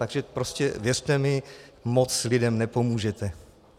Takže prostě věřte mi, moc lidem nepomůžete.